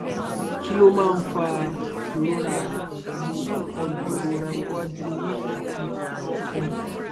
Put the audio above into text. kí ló máa ń fa ìrora àyà pelu ikolu irora iwaju ori ati ona ọfun